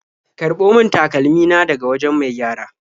Karɓo min takalmi na daga wajen mai gyara.